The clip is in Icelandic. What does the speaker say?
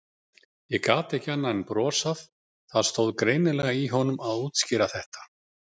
Ég gat ekki annað en brosað, það stóð greinilega í honum að útskýra þetta.